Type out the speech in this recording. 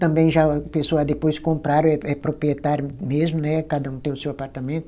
Também já a pessoa depois compraram, é é proprietário mesmo né, cada um tem o seu apartamento.